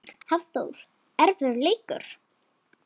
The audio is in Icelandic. Hafþór: Erfiður leikur?